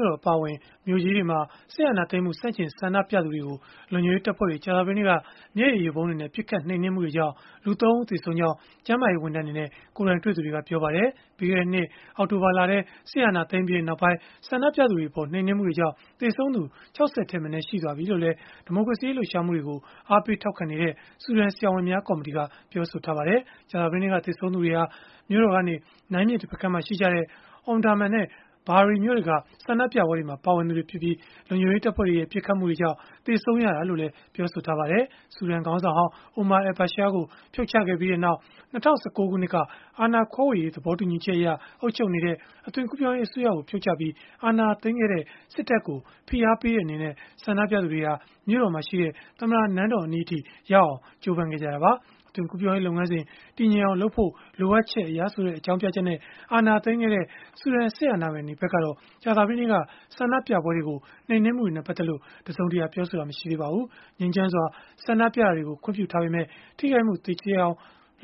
ို့တော် အပါအဝင် မြို့ကြီးတွေမှာ စစ်အာဏာသိမ်းမှု ဆန့်ကျင်ဆန္ဒပြသူတွေကို လုံခြုံရေးတပ်ဖွဲ့တွေ ကြာသပတေးနေ့က မျက်ရည်ယိုဗုံးတွေနဲ့ ပစ်ခတ်နှိမ်နင်းမှုတွေကြောင့် လူ ၃ ဦးသေဆုံးခဲ့ကြောင်း ကျန်းမာရေးဝန်ထမ်းတွေနဲ့ ကိုယ်တိုင်တွေ့သူတွေက ပြောပါတယ်။ ပြီးခဲ့တဲ့နှစ် အောက်တိုဘာလထဲ စစ်အာဏာသိမ်းပြီးနောက်ပိုင်း ဆန္ဒပြသူတွေအပေါ် နှိမ်နင်းမှုတွေကြောင့် သေဆုံးသူ ၆၀ ထက်မနည်း ရှိသွားပြီလို့လည်း ဒီမိုကရေစီရေး လှုပ်ရှားမှုတွေကို အားပေးထောက်ခံနေတဲ့ ဆူဒန်ဆရာဝန်များ ကော်မတီက ပြောပါတယ်။ ကြာသပတေးနေ့က သေဆုံးသူတွေဟာ မြို့တော်ကနေ နိုင်းမြစ်တဖက်ကမ်းမှာရှိကြတဲ့ Omdurman နဲ့ Bahri မြို့တွေက ဆန္ဒပြပွဲတွေမှာ ပါဝင်ခဲ့ကြသူတွေဖြစ်ပြီး၊ လုံခြုံရေးတပ်ဖွဲ့တွေရဲ့ ပစ်ခတ်မှုကြောင့် သေဆုံးရတာလို့လည်း ပြောပါတယ်။ ဆူဒန်ခေါင်းဆောင်ဟောင်း Omar al-Bashir ကို ဖြုတ်ချခဲ့ပြီးနောက် ၂၀၁၉ ခုနှစ်က အာဏာခွဲဝေရေး သဘောတူညီချက်အရ အုပ်ချုပ်နေတဲ့ အသွင်ကူးပြောင်းရေး အစိုးရကို ဖြုတ်ချပြီး အာဏာသိမ်းခဲ့တဲ့ စစ်တပ်ကို ဖိအားပေးတဲ့အနေနဲ့ ဆန္ဒပြသူတွေဟာ မြို့တော်မှာရှိတဲ့ သမ္မတနန်းတော်အနီးအထိရောက်အောင် ကြိုးပမ်းခဲ့ကြတာပါ။ အသွင်ကူးပြောင်းရေး လုပ်ငန်းစဉ် တည်ငြိမ်အောင်လုပ်ဖို့ လိုအပ်ချက်အရဆိုတဲ့ အကြောင်းပြချက်နဲ့ အာဏာသိမ်းခဲ့တဲ့ ဆူဒန်စစ်အာဏာပိုင်တွေဖက်ကတော့ ကြာသပတေးနေ့က ဆန္ဒပြပွဲတွေကို နှိမ်နင်းမှုတွေနဲ့ ပတ်သက်လို့ တစုံတရာ ပြောဆိုတာ မရှိသေးပါဘူး။ ငြိမ်းချမ်းစွာ ဆန္ဒပြတာတွေကို ခွင့်ပြုထားပေမဲ့ ထိခိုက်မှုသေကျေအောင်